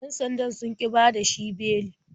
Yan sandan sun ƙi bada shi beli.